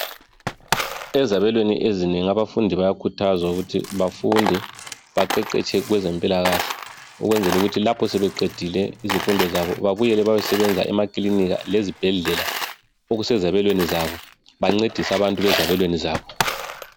Ezabelweni ezinengi abafundi bayakhuthazwa ukuthi bafunde baqeqetshe kwezempilakahle, ukwenzela ukuthi lapho sebeqedile izifundo zabo babuyele bayosebenza emakilinika lezibhedlela okusezabelweni zabo. Bancedise abantu abasezabelweni zabo.